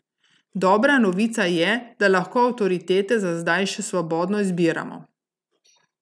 Dobra novica je, da lahko avtoritete za zdaj še svobodno izbiramo.